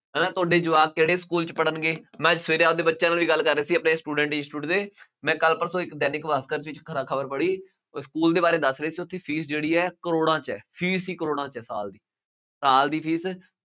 ਹੈ ਨਾ ਤੁਹਾਡੇ ਜਵਾਕ ਕਿਹੜੇ ਸਕੂ਼ਲ ਚ ਪੜ੍ਹਨਗੇ, ਮੈਂ ਅੱਜ ਸਵੇਰੇ ਆਪ ਦੇ ਬੱਚਿਆਂ ਨੂੰ ਇਹ ਗੱਲ ਕਰ ਰਿਹਾ ਸੀ ਆਪਣੇ student ਨੇ ਇੰਸਟੀਚਿਊਟ ਦੇ, ਮੈਂ ਕੱਲ੍ਹ ਪਰਸੋਂ ਇੱਕ ਦੈਨਿਕ ਭਾਸਕਰ ਵਿੱਚ ਖਬ ਖਬਰ ਪੜ੍ਹੀ, ਉਹ ਸਕੂਲ ਦੇ ਬਾਰੇ ਦੱਸ ਰਹੇ ਸੀ, ਉਹਦੀ ਫੀਸ ਜਿਹੜੀ ਹੈ ਕਰੋੜਾਂ ਚ ਹੈ। ਫੀਸ ਹੀ ਕਰੋੜਾਂ ਚ ਹੈ ਸਾਲ ਦੀ, ਸਾਲ ਦੀ ਫੀਸ